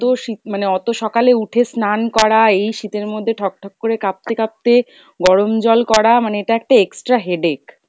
অত শীত মানে অত সকালে উঠে স্নান করা, এই শীতের মধ্যে ঠক ঠক করে কাঁপতে কাঁপতে গরম জল করা, মানে এটা একটা extra headache।